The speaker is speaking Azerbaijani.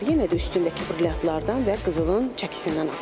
Yenə də üstündəki brilyantlardan və qızılın çəkisindən asılıdır.